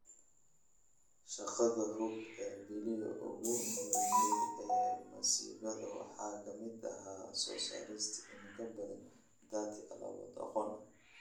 Shaqada Hub ee bilihii ugu horreeyay ee masiibada waxaa ka mid ahaa soo saarista in ka badan 30 alaabo aqoon ah